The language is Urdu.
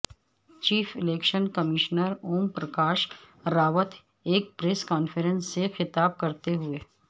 chief election commissioner Om Prakash Rawat ایک پریس کانفرنس سے خطاب کرتے ہوئے